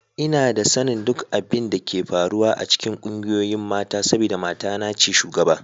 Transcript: Ina da sanin duk abin da ke faruwa a cikin ƙungiyoyin mata saboda matana ce shugaba